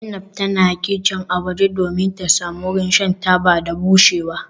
Zainab tana kicin a waje domin ta samu wurin shan taba da bushewa.